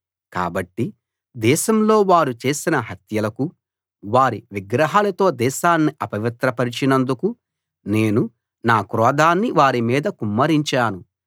కాబట్టి దేశంలో వారు చేసిన హత్యలకూ వారి విగ్రహాలతో దేశాన్ని అపవిత్రపరచినందుకు నేను నా క్రోధాన్ని వారి మీద కుమ్మరించాను